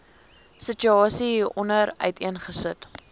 situasie hieronder uiteengesit